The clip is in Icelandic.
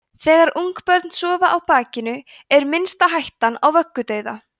þegar ungbörn sofa á bakinu er minnsta hættan á vöggudauða